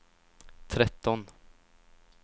tretton